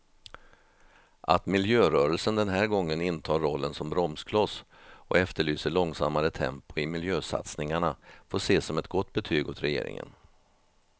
Att miljörörelsen den här gången intar rollen som bromskloss och efterlyser långsammare tempo i miljösatsningarna får ses som ett gott betyg åt regeringen.